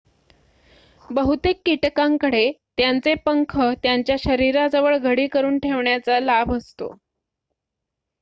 बहुतेक कीटकांकडे त्यांचे पंख त्यांच्या शरीराजवळ घडी करून ठेवण्याचा लाभ असतो